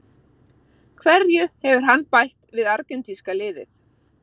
Hverju hefur hann bætt við argentínska liðið?